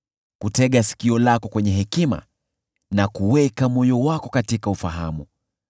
kutega sikio lako kwenye hekima na kuweka moyo wako katika ufahamu,